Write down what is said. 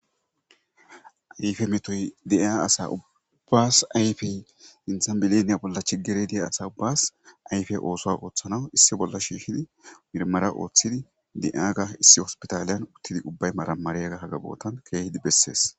ayfe metoy dia asa ubbas ayfey insambileniya bolla chigere deya asa ubbas ayfe oosoa ooththanawu issi bolla shiihidi mirmara ooththidi di7aaga issi hospitaaliyan uttidi ubbay maramariyaga hagabootan keehidi bessees